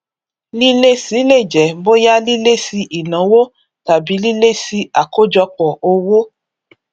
lílési lè jẹ bóyá lílési ìnáwó tàbí lílési àkọjọpọ owó